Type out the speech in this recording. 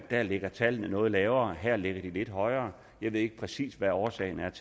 der ligger tallene noget lavere her ligger de lidt højere jeg ved ikke præcis hvad årsagen er